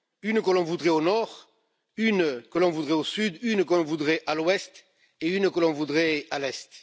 Une que l'on voudrait au nord, une que l'on voudrait au sud, une que l'on voudrait à l'ouest et une que l'on voudrait à l'est.